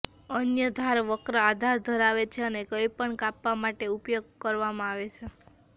અન્ય ધાર વક્ર આકાર ધરાવે છે અને કંઈપણ કાપવા માટે ઉપયોગ કરવામાં આવે છે